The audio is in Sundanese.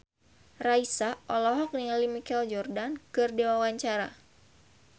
Raisa olohok ningali Michael Jordan keur diwawancara